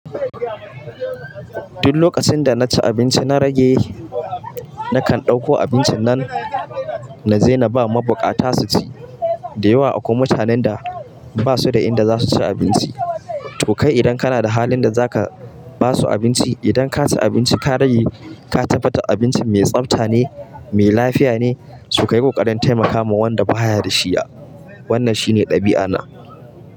Duk lokacin da na ci abinci na rage, na kan ɗauko abincin nan na je na ba mabukata su ci. Da yawa akwai mutanen da, ba su da inda za su ci abinci. To kai, idan kana da halin da zaka ba su abinci, idan ka ci abinci ka rage ka tabbata abincin mai tsabta ne, mai lafiya ne, so kayi ku ƙaranta, yi maka ma wanda ba haya da shi. Wannan shine ɗabi'ana.